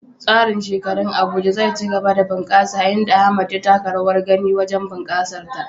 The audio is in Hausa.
Tsarin shekarun Abuja zai ci gaba da bunƙasa, inda Ahmad ya taka rawar gani wajen bunƙasar ta.